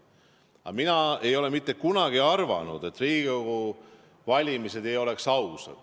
Aga mina ei ole mitte kunagi arvanud, et Riigikogu valimised ei oleks ausad.